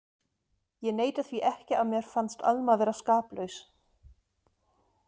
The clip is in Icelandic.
Ég neita því ekki að mér fannst Alma vera skaplaus.